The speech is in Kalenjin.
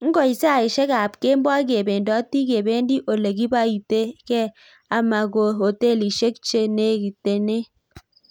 Ngoit saishek ab kemboi kependoti kependi ole kibaite gee ama ko hotelishek che negineten.